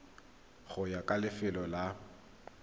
go ya ka lefelo la